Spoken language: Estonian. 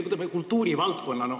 Võtame kultuurivaldkonna.